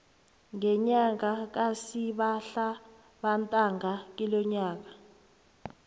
ngenyanga kasihlabantangana kilonyaka